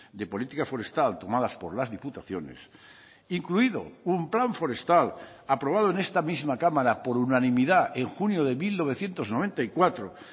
de política forestal tomadas por las diputaciones incluido un plan forestal aprobado en esta misma cámara por unanimidad en junio de mil novecientos noventa y cuatro